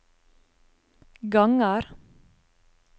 ganger